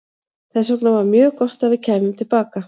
Þess vegna var mjög gott að við kæmum til baka.